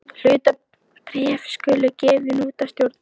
Hlutabréf skulu gefin út af stjórn.